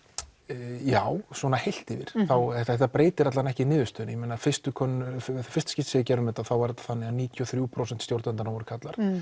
já svona heilt yfir þetta breytir allavega ekki niðurstöðunni í fyrsta fyrsta skipti sem við gerðum þetta var það þannig að níutíu og þrjú prósent stjórnenda voru karlar